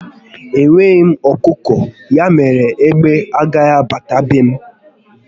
Enweghị m ọkụkọ, ya mere na égbé agaghị abata be m